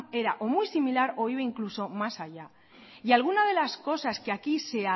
era o muy similar o iba incluso más allá y alguna de las cosas que aquí se